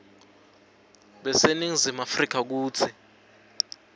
baseningizimu afrika kutsi